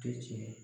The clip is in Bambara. Tɛ tiɲɛ ye